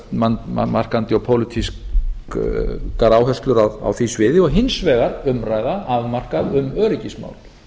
svona stefnumarkandi og pólitískar áherslur á því sviði og hins vegar umræða afmarkað um öryggismál